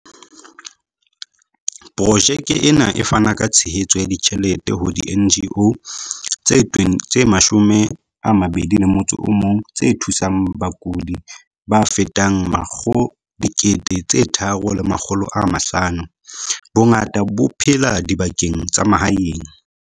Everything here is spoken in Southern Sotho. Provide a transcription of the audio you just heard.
Projeke ena e fana ka tshehetso ya ditjhelete ho di-NGO tse 21 tse thusang bakudi ba fetang 3 500, bongata bo phela dibakeng tsa mahaeng.